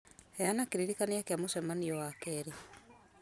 heana kĩririkania kĩa mũcemanio wa wakerĩ